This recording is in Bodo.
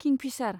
किंफिसार